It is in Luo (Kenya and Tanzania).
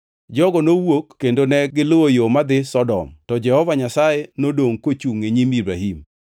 Jogo nowuok kendo negiluwo yo madhi Sodom, to Jehova Nyasaye nodongʼ kochungʼ e nyim Ibrahim.